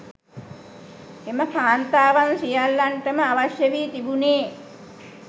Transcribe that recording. එම කාන්තාවන් සියල්ලන්ටම අවශ්‍ය වී තිබුණේ